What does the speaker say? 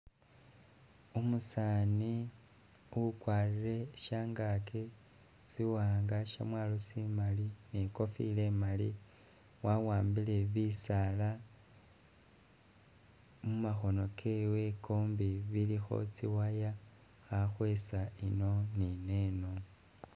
Umusaani ukwalire shyangaki siwanga shyamwalo simali ni'kofilo imali wawambile bisaala mumakhono kewe kombi, bilikho tsi wire khakhwesa ino ni neno